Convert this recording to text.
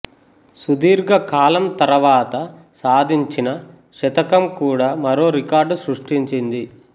సుదీర్ఘ కాలం తర్వాత సాధించిన శతకం కూడా మరో రికార్డు సృష్టించింది